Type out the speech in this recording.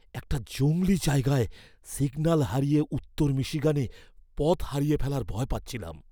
একটা জংলি জায়গায় সিগন্যাল হারিয়ে উত্তর মিশিগানে পথ হারিয়ে ফেলার ভয় পাচ্ছিলাম।